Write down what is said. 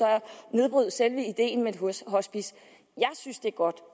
nedbryde selve ideen med et hospice jeg synes det er godt